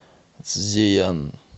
цзеян